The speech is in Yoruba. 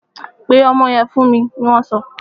Pe ọmọ yẹn fún mi! ni wọn so.